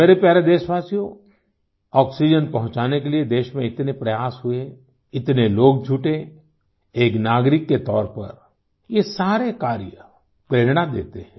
मेरे प्यारे देशवासियो ऑक्सीजन पहुंचाने के लिए देश में इतने प्रयास हुए इतने लोग जुटे एक नागरिक के तौर पर ये सारे कार्य प्रेरणा देते हैं